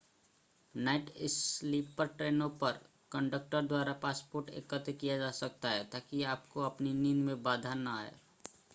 night sleeper ट्रेनों पर conductor द्वारा पासपोर्ट एकत्र किया जा सकता है ताकि आपको अपनी नींद में बाधा न आए